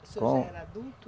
O senhor já era adulto?